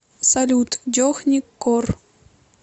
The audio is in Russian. салют джони кор